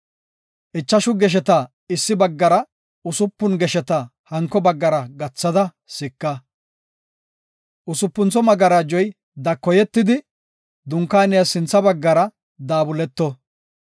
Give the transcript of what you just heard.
Ichashu gesheta issi baggara, usupun gesheta hanko baggara gathada sika. Usupuntho magarajoy dakoyetidi, dunkaaniyas sintha baggara daabuleto.